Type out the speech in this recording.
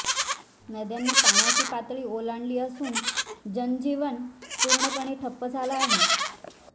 नद्यांनी पाण्याची पातळी ओलांडली असून जनजीवन पूर्णपणे ठप्प झाला आहे